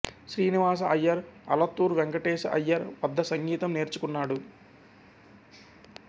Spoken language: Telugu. శ్రీనివాస అయ్యర్ అలత్తూర్ వెంకటేశ అయ్యర్ వద్ద సంగీతం నేర్చుకున్నాడు